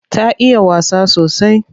Ta iya wasa sosai.